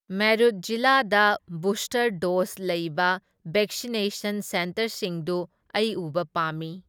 ꯃꯦꯔꯨꯠ ꯖꯤꯂꯥꯗ booster dose ꯂꯩꯕ vaccination ꯁꯦꯟꯇꯔꯁꯤꯡꯗꯨ ꯑꯩ ꯎꯕ ꯄꯥꯝꯃꯤ꯫